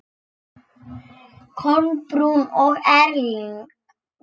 Kolbrún og Erling.